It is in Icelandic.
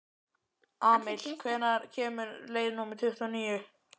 Amil, hvenær kemur leið númer tuttugu og níu?